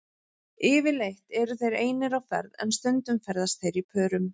Yfirleitt eru þeir einir á ferð en stundum ferðast þeir í pörum.